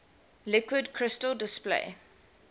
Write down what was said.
liquid crystal display